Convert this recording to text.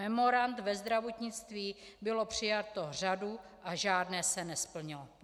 Memorand ve zdravotnictví byla přijata řada a žádné se nesplnilo.